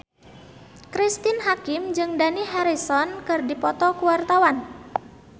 Cristine Hakim jeung Dani Harrison keur dipoto ku wartawan